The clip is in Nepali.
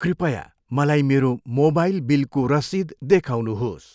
कृपया मलाई मेरो मोबाइल बिलको रसिद देखाउनुहोस्।